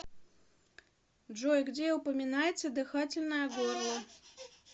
джой где упоминается дыхательное горло